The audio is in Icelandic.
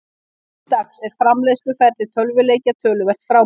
Nú til dags er framleiðsluferli tölvuleikja töluvert frábrugðið.